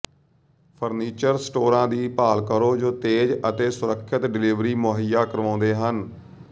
furniture ਸਟੋਰਾਂ ਦੀ ਭਾਲ ਕਰੋ ਜੋ ਤੇਜ਼ ਅਤੇ ਸੁਰੱਖਿਅਤ ਡਿਲੀਵਰੀ ਮੁਹੱਈਆ ਕਰਵਾਉਂਦੇ ਹਨ